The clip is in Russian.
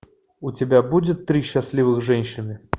у тебя будет три счастливых женщины